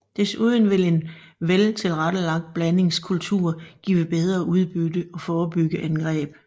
Desuden vil en vel tilrettelagt blandingskultur give bedre udbytte og forebygge angreb